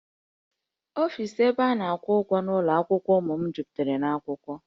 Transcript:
Ọfis ebe a na-akwụ ụgwọ n'ụlọ akwụkwọ ụmụ m jupụtara na akwụkwọ